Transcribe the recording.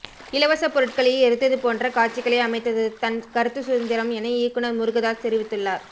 இலவச பொருட்களை எரித்தது போன்ற காட்சிகளை அமைத்தது தன் கருத்து சுதந்திரம் என இயக்குனர் முருகதாஸ் தெரிவித்துள்ளார்